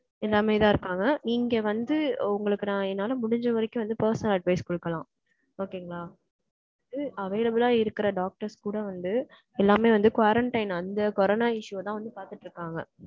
எல்லாமேதான் இருக்காங்க. நீங்க வந்து, உங்களுக்கு, நான், என்னால முடிஞ்ச வரைக்கும் வந்து, personal advice குடுக்கலாம். Okay ங்களா? அது available ஆ இருக்கிற doctors கூட வந்து, எல்லாமே வந்து, quarantine, அந்த கொரோனா issue தான் வந்து, பார்த்துட்டு இருக்காங்க.